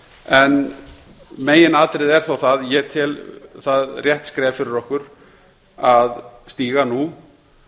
en meginatriðið er þó það að ég tel það rétt skref fyrir okkur að stíga nú